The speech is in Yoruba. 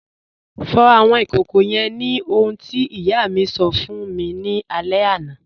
Fọ̀ awọn ikókó yẹ́n ni ohun tí iyà mi sọ̀ fún mi ni alẹ̀ àná.